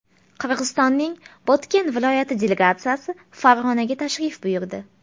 Qirg‘izistonning Botken viloyati delegatsiyasi Farg‘onaga tashrif buyurdi.